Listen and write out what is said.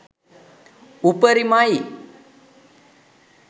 උපරිමයි